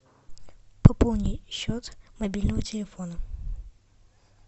пополни счет мобильного телефона